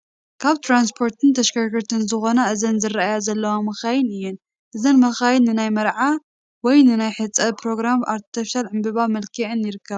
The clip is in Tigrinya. ካብ ትራንስፖርትን ተሽከርከርትን ዝኾና እዘን ዝራኣያ ዘለዋ መካይን እየን፡፡ እዘን መካይን ንናይ መርዓ ወይ ንናይ ሕፀ ኘሮግራም ብኣርቴፊሻል ዕንበባ መልኪዐን ይርከባ፡፡